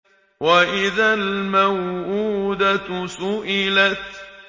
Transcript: وَإِذَا الْمَوْءُودَةُ سُئِلَتْ